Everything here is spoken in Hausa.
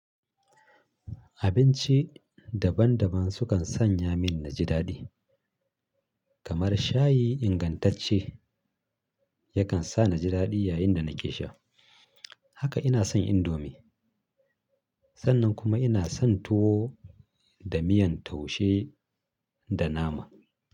Abinci daban-daban sukan sanya min naji daɗi, kamar shayi ingantacce yakan sa naji daɗi yayin da nake sha. Haka ina son indomi, sannan kuma ina son tuwo da miyan taushe da nama.